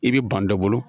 I bɛ ban dɔ bolo